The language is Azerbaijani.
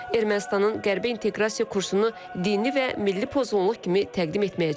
Ermənistanın Qərbə inteqrasiya kursunu dini və milli pozğunluq kimi təqdim etməyə cəhd göstərir.